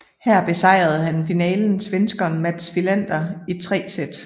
Her besejrede han i finalen svenskeren Mats Wilander i tre sæt